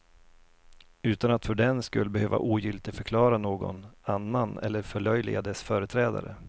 Utan att för den skull behöva ogiltigförklara någon annan eller förlöjliga dess företrädare.